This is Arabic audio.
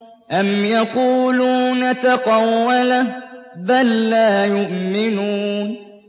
أَمْ يَقُولُونَ تَقَوَّلَهُ ۚ بَل لَّا يُؤْمِنُونَ